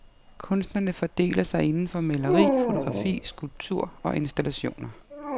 Kunstnerne fordeler sig inden for maleri, fotografi, skulptur og installationer.